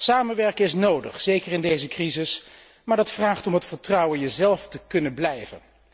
Samenwerken is nodig, zeker in deze crisis, maar dat vraagt om het vertrouwen jezelf te kunnen blijven.